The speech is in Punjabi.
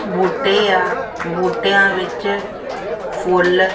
ਬੂਟੇ ਆ ਬੂਟਿਆਂ ਵਿੱਚ ਫੁੱਲ --